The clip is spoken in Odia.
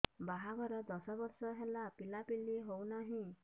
ବାହାଘର ଦଶ ବର୍ଷ ହେଲା ପିଲାପିଲି ହଉନାହି